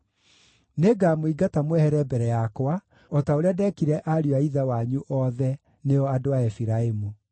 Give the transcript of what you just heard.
Nĩngamũingata mwehere mbere yakwa, o ta ũrĩa ndeekire ariũ a ithe wanyu othe, nĩo andũ a Efiraimu.’